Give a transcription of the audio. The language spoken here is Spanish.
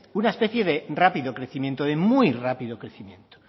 una especie de rápido crecimiento de muy rápido crecimiento